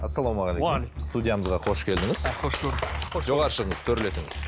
ассалаумағалейкум уағалейкум ассалям студиямызға қош келдіңіз қош көрдік жоғары шығыңыз төрлетіңіз